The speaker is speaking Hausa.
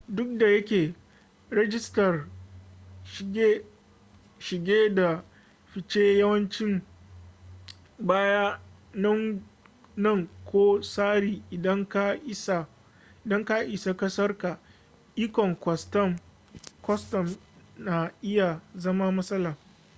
duk da yake rajistar shige da fice yawanci baya nan ko tsari idan ka isa kasarka ikon kwastam na iya zama matsala